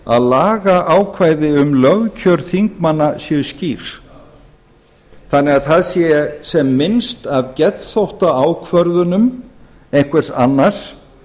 að lagaákvæði um lögkjör þingmanna séu skýr þannig að það sé sem minnst af geðþóttaákvörðunum einhvers annars